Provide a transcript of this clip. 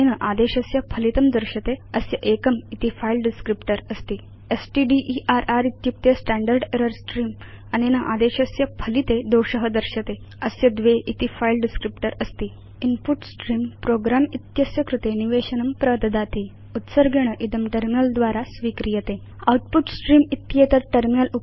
अनेन आदेशस्य फलितं दर्श्यते अस्य एकं इति फिले डिस्क्रिप्टर अस्ति स्टडर इत्युक्ते स्टैण्डर्ड् एरर् स्त्रेऽं अनेन आदेशस्य फलिते दोष दर्श्यते अस्य द्वे इति फिले डिस्क्रिप्टर अस्ति इन्पुट स्त्रेऽं प्रोग्रं इति अस्य कृते निवेशनं प्रददाति उत्सर्गेण इदं टर्मिनल द्वारा स्वीक्रियते आउटपुट स्ट्रीम्स् इत्येतत् टर्मिनल